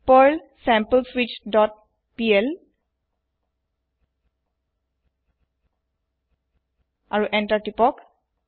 Perl sampleswitchপিএল আৰু enter তিপক